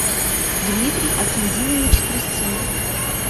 дмитрий акиндинович трисцын